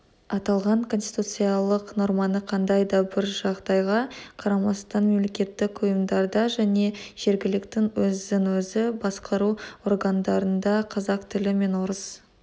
аталған конституциялық норманы қандай да бір жағдайға қарамастан мемлекеттік ұйымдарда және жерглкт өзін-өзі басқару органдарында қазақ тілі мен орыс